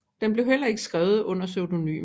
Den blev heller ikke skrevet under pseudonym